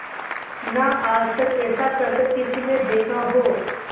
ना आज तक ऐसा करतब किसी ने देखा हो